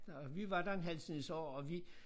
Og vi var der en halv snes år og vi